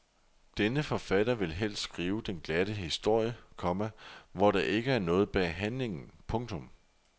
Denne forfatter vil helst skrive den glatte historie, komma hvor der ikke er noget bag handlingen. punktum